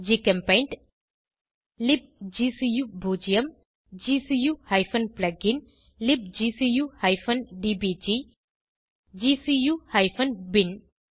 ஜிசெம்பெயிண்ட் லிப்கு0 gcu plugin libgcu டிபிஜி gcu பின்